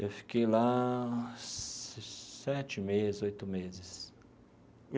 Eu fiquei lá sete meses, oito meses.